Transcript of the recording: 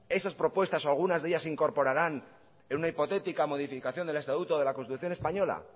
esas propuestas o algunas de ellas se incorporaran en una hipotética modificación del estatuto o de la constitución española